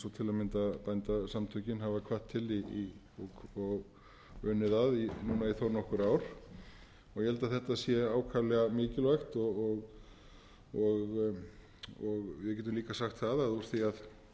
til að mynda bændasamtökin hafa hvatt til og unnið að í núna þó nokkur ár ég held að þetta sé ákaflega mikilvægt og við getum líka sagt það að úr því að þessi